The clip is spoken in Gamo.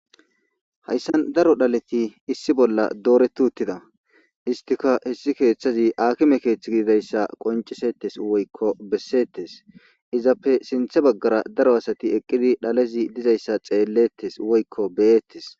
Hayssan daro dhaleti issi bolla dooretu uttida istika hessi keeththazi akime keethth gididayssa qoncisettes woykko bessettes izappe sinthe baggara daro asati eqqidi dhalezi dizayssa xeellettes woykko beyettes.